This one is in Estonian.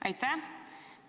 Aitäh!